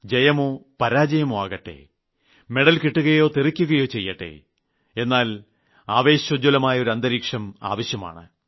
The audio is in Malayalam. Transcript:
ജയമോ പരാജയമോ ആകട്ടെ മെഡൽ കിട്ടുകയോ കിട്ടാതിരിക്കുകയോ ചെയ്യട്ടെ എന്നാൽ ആവേശോജ്ജ്വലമായ ഒരു അന്തരീക്ഷം ആവശ്യമാണ്